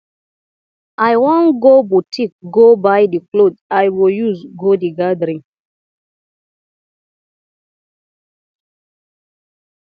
i wan go boutique go buy the cloth i go use go the gathering